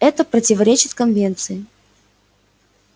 это противоречит конвенции